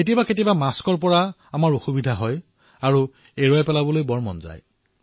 কেতিয়াবা কেতিয়াবা আমি মাস্কৰ পৰা সমস্যা পাও আৰু মুখৰ পৰা মাস্কখন আঁতৰাই দিবলৈ মন হয়